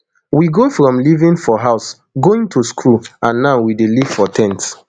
we go from living for house going to school and now we dey live for ten t